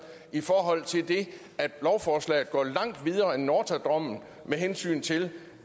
i forhold til at lovforslaget går langt videre end nortra dommen med hensyn til